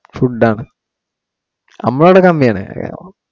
Food ആ നമ്മടെ അവിടെ കമ്മി ആണ്.